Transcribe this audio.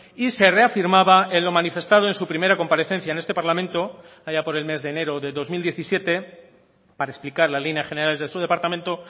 y se reafirmaba en lo manifestado en su primera comparecencia en este parlamento allá por el mes de enero de dos mil diecisiete para explicar las líneas generales de su departamento